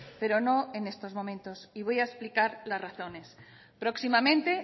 pero no en estos momentos y voy a explicar las razones próximamente